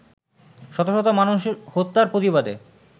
শত শত মানুষ হত্যার প্রতিবাদে